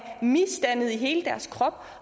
misdannede i hele deres krop